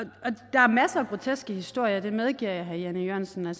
der er masser af groteske historier det medgiver jeg herre jan e jørgensen